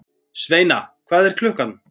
Sveina, hvað er klukkan?